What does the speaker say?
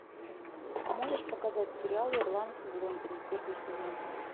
можешь показать сериал ирландцы в лондоне первый сезон